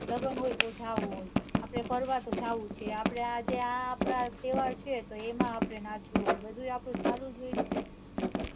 લગન હોય તો જાઉં જ છે આપડે ફરવા તો જાઉં જ છે આપડે આ તો એમાં આપડે નાચવું હોય બધુંય આપણું ચાલુ જ હોય